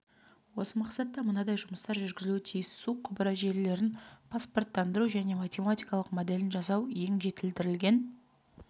осы мақсатта мынадай жұмыстар жүргізілуі тиіс су құбыры желілерін паспорттандыру және математикалық моделін жасау ең жетілдірілген